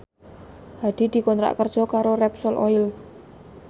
Hadi dikontrak kerja karo Repsol Oil